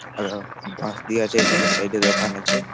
আর ও বাঁশ দিয়া আছে এধারেও সাইড -এ দোকান আছে।